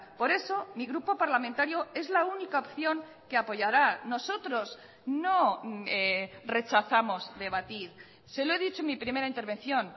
por eso mi grupo parlamentario es la única opción que apoyará nosotros no rechazamos debatir se lo he dicho en mi primera intervención